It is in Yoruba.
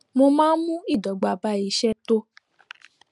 mo máa n mú ìdọgba bá iṣẹ tó